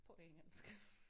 På engelsk